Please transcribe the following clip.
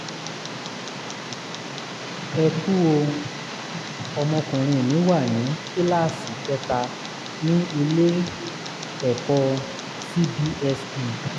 ẹ kú o! ọmọkùnrin mi wà ní kíláàsì kẹta ní ilé-ẹ̀kọ́ cbse